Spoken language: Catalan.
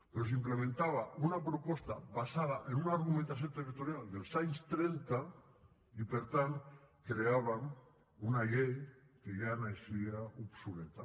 però s’implementava una proposta basada en una argumentació territorial dels anys trenta i per tant creàvem una llei que ja naixia obsoleta